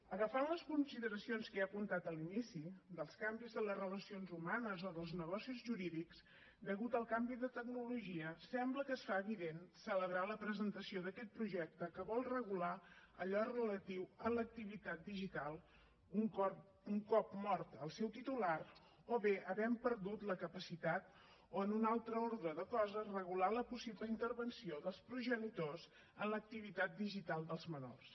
agafant les consideracions que ja he apuntat a l’inici dels canvis en les relacions humanes o en els negocis jurídics a causa del canvi de tecnologia sembla que es fa evident celebrar la presentació d’aquest projecte que vol regular allò relatiu a l’activitat digital un cop mort el seu titular o bé havent perdut la capacitat o en un altre ordre de coses regular la possible intervenció dels progenitors en l’activitat digital dels menors